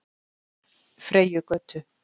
Freyjugötu